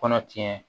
Kɔnɔ tiɲɛ